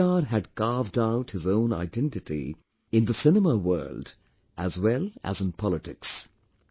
NTR had carved out his own identity in the cinema world as well as in politics